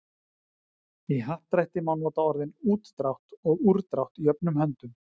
í happdrætti má nota orðin útdrátt og úrdrátt jöfnum höndum